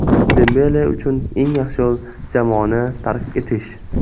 Dembele uchun eng yaxshi yo‘l jamoani tark etish.